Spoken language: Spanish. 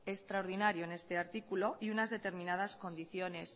extraordinario en este artículo y unas determinadas condiciones